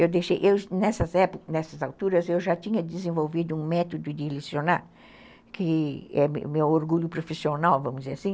Eu deixei... Nessas épocas, nessas alturas, eu já tinha desenvolvido um método de lecionar, que é o meu meu orgulho profissional, vamos dizer assim.